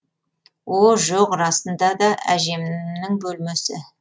о жоқ расында да әжем нің бөлмесі